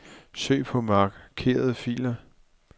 Søg på markerede filer.